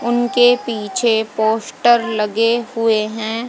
उनके पीछे पोस्टर लगे हुए हैं।